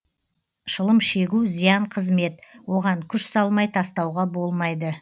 шылым шегу зиян қызмет оған күш салмай тастауға болмайды